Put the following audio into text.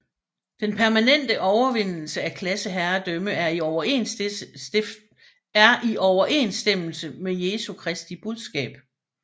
Den permanente overvindelse af klasseherredømme er i overensstemmelse med Jesu Kristi budskab